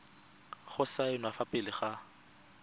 go saenwa fa pele ga